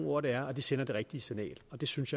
ord det er og at de sender det rigtige signal og det synes